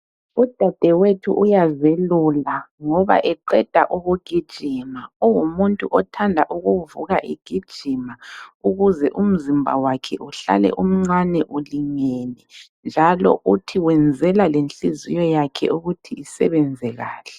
Udadewethu uyazelula ngoba eqeda ukugijima. Ungumuntu othanda ukuvuka egijima ukuze umzimba wakhe uhlale umncane ulingene njalo uthi wenzela lenhliziyo yakhe ukuthi isebenze kahle.